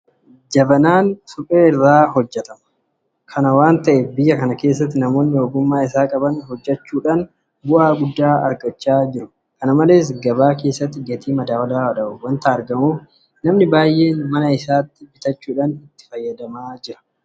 Jabanaan suphee irraa hojjetama. Kana waanta ta'eef biyya kana keessatti namoonni ogummaa isaa qaban hojjechuudhaan bu'aa guddaa irraa argachaa jiru. Kana malees gabaa keessatti gatii madaalawaadhaan waanta argamuuf namni baay'een mana isaatti bitachuudhaan itti fayyadama.